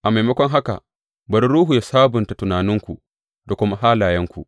A maimakon haka, bari Ruhu yă sabunta tunaninku da kuma halayenku.